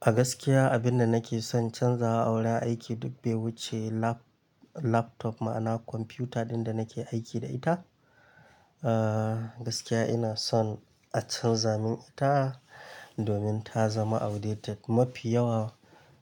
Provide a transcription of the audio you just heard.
A gaskiya abin da nake son canzawa a wurin aiki duk bai wuce lap- laptop ma'ana kwamfuta dinda nake aiki da ita. Aa gaskiya ina son a canza min ita domin ta zama outdated mafi yawa